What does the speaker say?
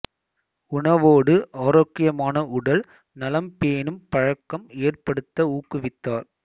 உணவோடு ஆரோக்கியமான உடல் நலம் பேணும் பழக்கம் ஏற்படுத்த ஊக்குவித்தார்